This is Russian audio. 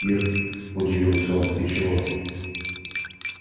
ир удивился он ты чего